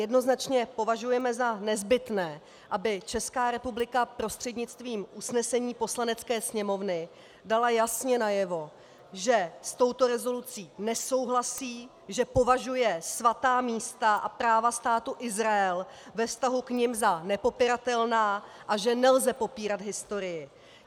Jednoznačně považujeme za nezbytné, aby Česká republika prostřednictvím usnesení Poslanecké sněmovny dala jasně najevo, že s touto rezolucí nesouhlasí, že považuje svatá místa a práva Státu Izrael ve vztahu k nim za nepopiratelná a že nelze popírat historii.